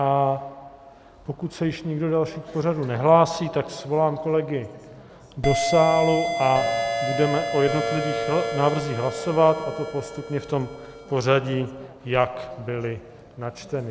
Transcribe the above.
A pokud se již nikdo další k pořadu nehlásí, tak svolám kolegy do sálu a budeme o jednotlivých návrzích hlasovat, a to postupně v tom pořadí, jak byly načteny.